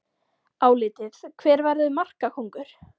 Álitið: Hver verður markakóngur?